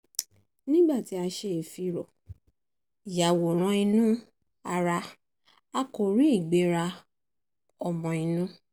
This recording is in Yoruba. nígbà tí a ṣe ìfìró-yàwòrán-inú-ara a kò rí ìgbéra ọmọ-inú